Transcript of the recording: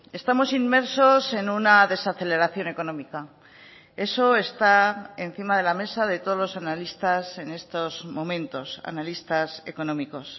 estamos inmersos en una desaceleración económica esoestá encima de la mesa de todos los analistas en estos momentos analistas económicos